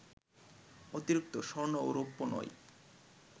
অতিরিক্ত স্বর্ণ ও রৌপ্য নয়